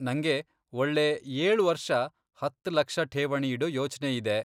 ನಂಗೆ ಒಳ್ಳೇ ಏಳ್ ವರ್ಷ ಹತ್ತ್ ಲಕ್ಷ ಠೇವಣಿ ಇಡೊ ಯೋಚ್ನೆಇದೆ.